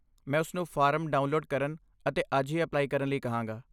ਮੈਂ ਉਸਨੂੰ form download ਕਰਨ ਅਤੇ ਅੱਜ ਹੀ ਅਪਲਾਈ ਕਰਨ ਲਈ ਕਹਾਂਗਾ।